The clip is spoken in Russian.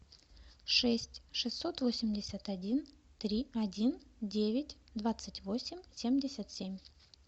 шесть шестьсот восемьдесят один три один девять двадцать восемь семьдесят семь